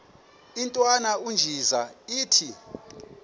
intwana unjeza ithi